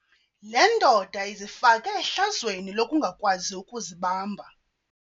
Le ndoda izifake ehlazweni lokungakwazi ukuzibamba.